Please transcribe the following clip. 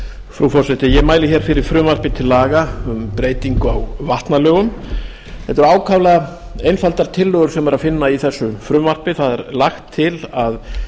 frú forseti ég mæli hér fyrir frumvarpi til laga um breytingu á vatnalögum þetta eru ákaflega einfaldar tillögur sem er að finna í þessu frumvarpi það er lagt til að